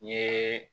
N ye